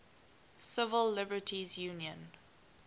civil liberties union